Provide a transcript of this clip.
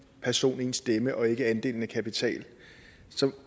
person én stemme og ikke er andelen af kapital så